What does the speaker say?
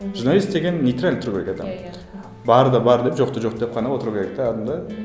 журналист деген нейтрально тұру керек адам барды бар деп жоқты жоқ деп қана отыру керек